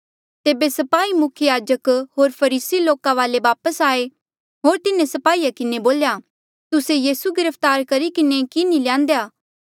तेबे स्पाही मुख्य याजक होर फरीसी लोका वाले वापस आये होर तिन्हें स्पाहीया किन्हें बोल्या तुस्से यीसू गिरफ्तार करी किन्हें कि नी ल्यान्देया